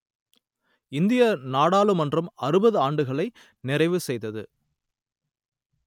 இந்திய நாடாளுமன்றம் அறுபது ஆண்டுகளை நிறைவு செய்தது